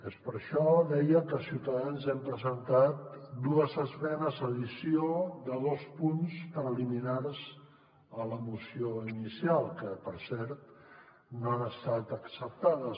és per això deia que ciutadans hem presentat dues esmenes d’addició de dos punts preliminars a la moció inicial que per cert no han estat acceptades